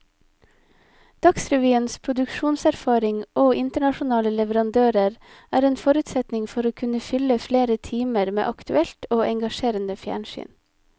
Dagsrevyens produksjonserfaring og internasjonale leverandører er en forutsetning for å kunne fylle flere timer med aktuelt og engasjerende fjernsyn.